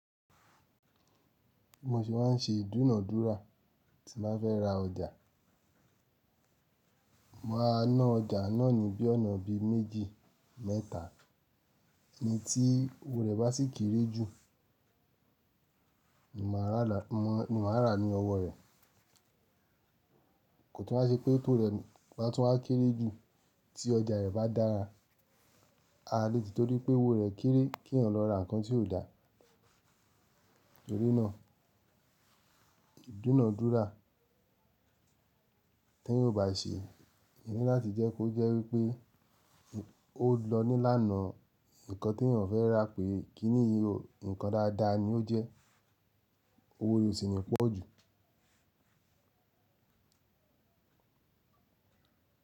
Bí mo ṣe máa n ṣe ìdúnàádúrà tí n bá fẹ́ ra ọjà. Máa ná ọjà náà ni bí ọ̀nà bí méjì mẹ́ta èyí tí owó rẹ̀ bá sì kéré jù ni màá rà lá, ni màá ràá ní ọwọ́ rẹ̀. Kò tún wá ṣe pé tó rẹ̀ bá tún wá kéré jù tí ọjà rẹ̀ bá dára. Aà lè tìtorí pé owó rẹ̀ kéré kí èèyàn lọ ra nǹkan tí ò dáa. Torí náà ìdúnàádúrà, téèyàn ò bá ṣe, ó ní láti jẹ́ kó jẹ́ wípé ó lọ nílànà nǹkan téèyàn fẹ́ rà pé kiní yìí o, nǹkan dáadáa ni ó jẹ́ owó rẹ̀ ò sì ní pọ̀ jù.